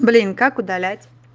блин как удалять